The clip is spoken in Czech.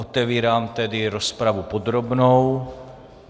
Otevírám tedy rozpravu podrobnou.